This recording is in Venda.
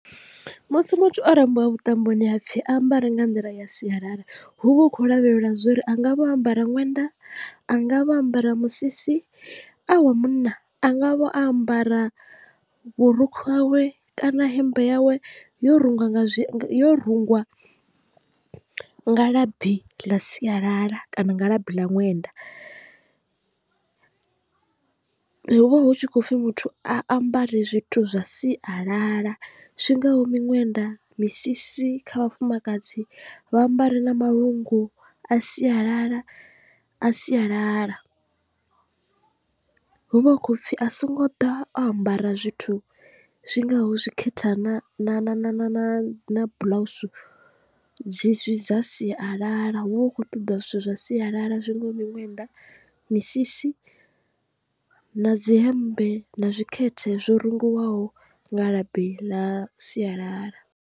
Musi muthu o rambiwa vhuṱamboni hapfi a ambare nga nḓila ya sialala hu vha hu khou lavhelelwa zwori a nga vho ambara ṅwenda a nga vho ambara musisi a wa munna a nga vho ambara vhurukhu hawe kana hemmbe yawe yo rungiwa nga zwo rungiwa nga labi ḽa sialala kana nga labi ḽa ṅwenda hu vha hu tshi khou pfhi muthu a ambare zwithu zwa siyalala zwingaho miṅwenda, misisi kha vhafumakadzi vha ambara na malungu a sialala a sialala hu vha hu khou pfhi a songo ḓa o ambara zwithu zwi ngaho zwi khetha na na na na na na na bḽausu dzi zwi dza sialala hu vha hu khou ṱoḓa zwithu zwa sialala zwi ngaho miṅwenda misisi na dzi hemmbe na zwikhethe zwo rungiwaho nga labi ḽa sialala.